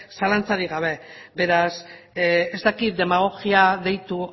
zalantzarik gabe beraz ez dakit demagogia deitu